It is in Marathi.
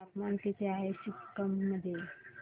तापमान किती आहे सिक्किम मध्ये